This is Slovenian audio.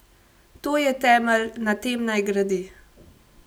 To je temelj, na tem naj gradi.